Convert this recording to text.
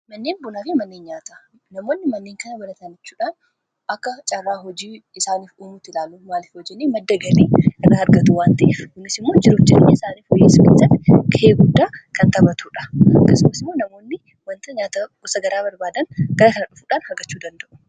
Manneen bunaa fi manneen nyaataa faayidaa madaalamuu hin dandeenye fi bakka bu’iinsa hin qabne qaba. Jireenya guyyaa guyyaa keessatti ta’ee, karoora yeroo dheeraa milkeessuu keessatti gahee olaanaa taphata. Faayidaan isaa kallattii tokko qofaan osoo hin taane, karaalee garaa garaatiin ibsamuu danda'a.